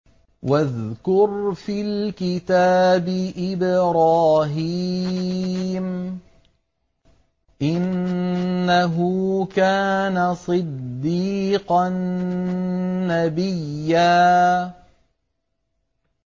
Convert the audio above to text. وَاذْكُرْ فِي الْكِتَابِ إِبْرَاهِيمَ ۚ إِنَّهُ كَانَ صِدِّيقًا نَّبِيًّا